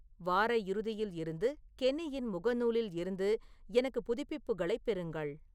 வார இறுதியில் இருந்து கென்னியின் முகநூலில் இருந்து எனக்கு புதுப்பிப்புகளைப் பெறுங்கள்